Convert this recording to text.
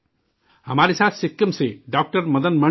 ہمارے ساتھ سکم سے ڈاکٹر مدن منی جی ہیں